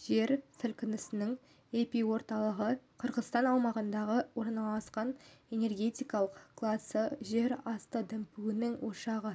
жер сілкінісінің эпиорталығы қырғызстан аумағында орналасты энергетикалық классы жер асты дүмпуінің ошағы